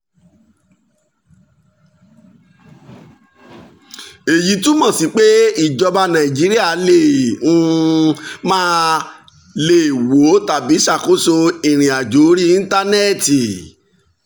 èyí túmọ̀ sí pé ìjọba nàìjíríà lè um máà lè wo tàbí ṣàkóso ìrìn um àjò orí íńtánẹ́ẹ̀tì um